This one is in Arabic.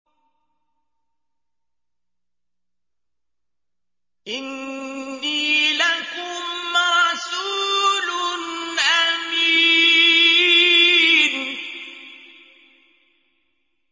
إِنِّي لَكُمْ رَسُولٌ أَمِينٌ